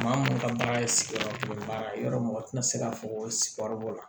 Maa minnu ka baara ye sigiyɔrɔ baara ye yɔrɔ mɔgɔ tɛna se ka fɔ ko sigiyɔrɔ b'o la